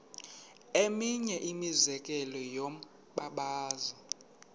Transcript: eminye imizekelo yombabazo